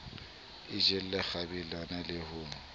a jelle kgwebeleng le ho